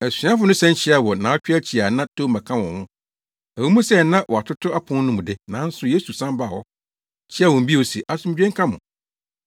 Asuafo no san hyiae wɔ nnaawɔtwe akyi a na Toma ka wɔn ho. Ɛwɔ mu sɛ na wɔatoto apon no mu de, nanso Yesu san baa hɔ, kyiaa wɔn bio se, “Asomdwoe nka mo!”